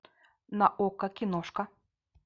на окко киношка